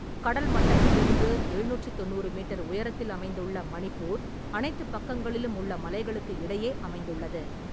கடல் மட்டத்திலிருந்து எழுநூற்றித் தொண்ணூறு மீட்டர் உயரத்தில் அமைந்துள்ள மணிப்பூர், அனைத்துப் பக்கங்களிலும் உள்ள மலைகளுக்கு இடையே அமைந்துள்ளது.